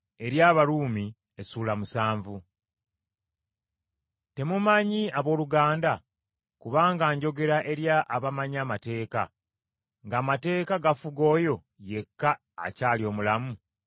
Temumanyi abooluganda, kubanga njogera eri abamanyi amateeka, ng’amateeka gafuga oyo yekka akyali omulamu?